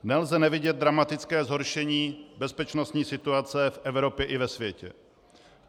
Nelze nevidět dramatické zhoršení bezpečnostní situace v Evropě i ve světě.